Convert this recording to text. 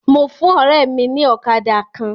Mo fún ọ̀rẹ́ mi ní ọ̀kadà kan.